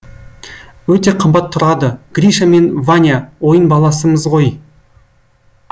өте қымбат тұрады гриша мен ваня ойын баласымыз ғой